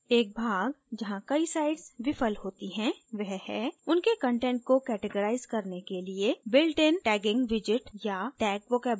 एक tag जहाँ कई sites विफल होती हैं वह है उनके कंटेंट को categorize करने के लिए builtin tagging widget या tag vocabulary का उपयोग करना